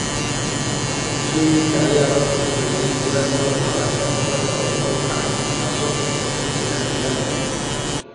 Bulshooyinka ayaa lagu qasbay inay guuraan sababtoo ah heerka badda oo kor u kacaya, taasoo keentay qaxootiga cimilada.